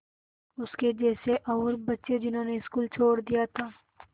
उसके जैसे और बच्चे जिन्होंने स्कूल छोड़ दिया था